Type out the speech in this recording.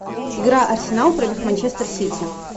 игра арсенал против манчестер сити